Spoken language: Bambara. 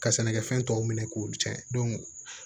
Ka sɛnɛkɛfɛn tɔw minɛ k'olu cɛn